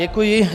Děkuji.